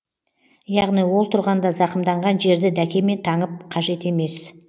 яғни ол тұрғанда зақымданған жерді дәкемен таңып қажет емес